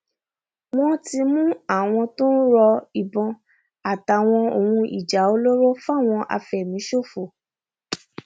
wọn ti mú àwọn tó ń ro ìbọn àtàwọn ohun ìjà olóró fáwọn afẹmíṣòfò